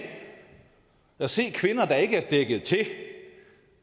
at se kvinder der ikke er dækket til